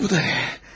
Bu da nə?